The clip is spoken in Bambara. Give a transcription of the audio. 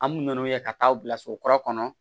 An b'u n'u ye ka taa u bila so kura kɔnɔ